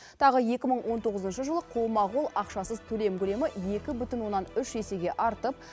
тағы екі мың он тоғызыншы жылы қолма қол ақшасыз төлем көлемі екі бүтін оннан үш есеге артып